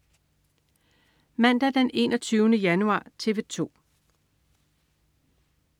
Mandag den 21. januar - TV 2: